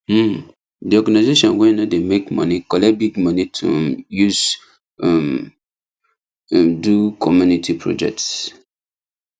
um the organization wey no dey make money collect big money to um use um m do community project